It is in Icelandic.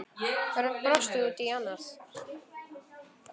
Örn brosti út í annað.